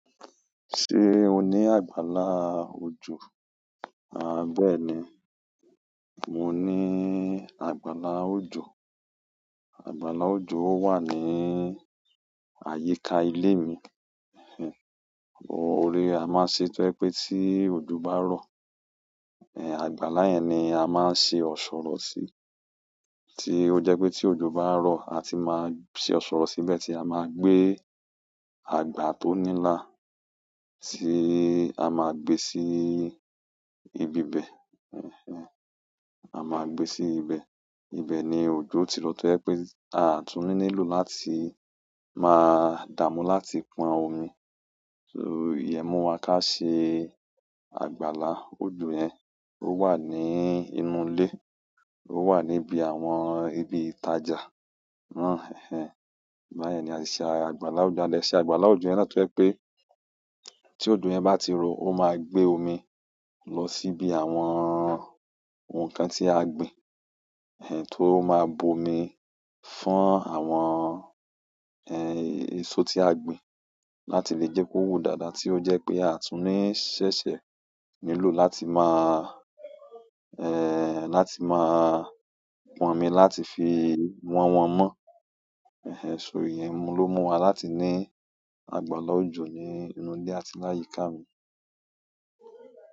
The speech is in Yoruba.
Ṣé o ní àgbàlá òjò? À bẹ́ẹ̀ ni, mo ní àgbàlá òjò. Àgbàlá òjò wà ní àyíká ilé mi. Ẹ̀heń, bo-òrè a máa ṣetọ́ pé tí òjò bá rọ, ẹ àgbàlá yẹn ni a máa ń ṣe ọ̀ṣọ̀rọ̀ sí. Tí ó jẹ́ pé tí òjò bá rọ, a ti máa ṣe ọ̀ṣọ̀rọ̀ síbẹ̀ tí a máa gbé àgbà tó nílà, tí a máa gbé sí ibi bẹ. Ẹ̀heń, a máa gbé sí ibẹ̀. Ibẹ̀ ni òjò ti lọ tó ẹ pé àtúnníní lò láti máa dàmú láti pọn omi. Iyẹ́múu wa ká ṣe àgbàlá òjò yẹn ó wà ní inú ìle, ó wà níbi àwọn ibi ìtajà. Ẹ̀heń, bayè ni a ṣe àgbàlá òjò, lẹ ṣẹ̀ àgbàlá òjò yẹn látọ́ ẹ pé tí òjò yẹn bá ti rọ, ó máa gbé omi lọ síbi àwọn ohun kan tí a gbìn, ẹ tó máa bomi fún àwọn, ẹsọ tí a gbìn láti lè jẹ́ kó wù dáadáa tí ó jẹ́ pé àtúnní ṣẹ́ṣẹ́ nílò láti máa, pọn omi láti fi wọn wọ́n mọ́. Ẹ̀heń, ṣọ ìyẹ́múu ló mú wa láti ní àgbàlá òjò ní inú ìle àti láyíká mi.